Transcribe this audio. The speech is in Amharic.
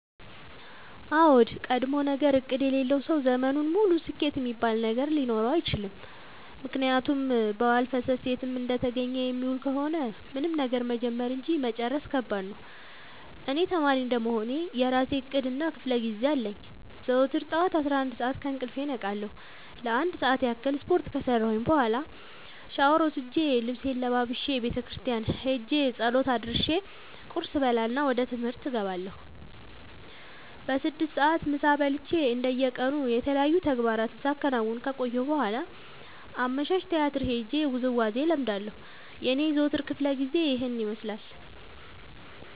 አዎድ ቀድሞነገር እቅድ የሌለው ሰው ዘመኑን ሙሉ ስኬት እሚባል ነገር ሊኖረው አይችልም። ምክንያቱም በዋልፈሰስ የትም እንደተገኘ የሚውል ከሆነ ምንም ነገር መጀመር እንጂ መጨረስ ከባድ ነው። እኔ ተማሪ እንደመሆኔ የእራሴ እቅድ እና ክፋለጊዜ አለኝ። ዘወትር ጠዋት አስራአንድ ሰዓት ከእንቅልፌ እነቃለሁ ለአንድ ሰዓት ያክል ስፓርት ከሰራሁኝ በኋላ ሻውር ወስጄ ልብሴን ለባብሼ ቤተክርስቲያን ኸጄ ፀሎት አድርሼ ቁርስ እበላና ወደ ትምህርት እገባለሁ። በስድስት ሰዓት ምሳ በልቼ እንደ የቀኑ የተለያዩ ተግባራትን ሳከናውን ከቆየሁ በኋላ አመሻሽ ቲያትር ሄጄ ውዝዋዜ እለምዳለሁ የኔ የዘወትር ክፍለጊዜ ይኸን ይመስላል።